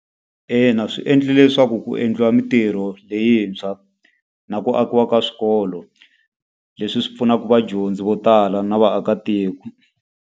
Ina swi endle leswaku ku endliwa mintirho leyintshwa, na ku akiwa ka swikolo. Leswi swi pfunaka vadyondzi vo tala na vaakatiko.